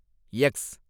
X